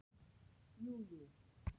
Jú, jú